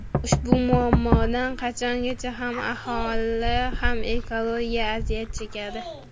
Ushbu muammodan qachongacha ham aholi, ham ekologiya aziyat chekadi?